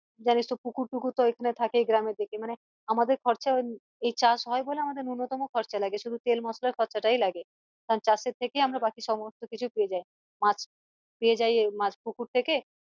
জানিস তো পুকুর টুকুর তো এখানে থাকেই গ্রামের দিকে মানে আমাদের খরচা এই চাষ হয় বলে আমাদের নূন্যতম খরচা লাগে শুধু তেল মশলার খরচা টাই লাগে আর চাষ এর থেকেই আমরা বাকি সমস্ত কিছু পেয়ে যাই মাছ মাছ পেয়ে যাই পুকুর থেকে